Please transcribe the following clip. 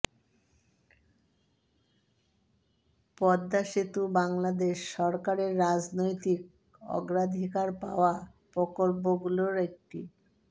পদ্মা সেতু বাংলাদেশ সরকারের রাজনৈতিক অগ্রাধিকার পাওয়া প্রকল্পগুলোর একটি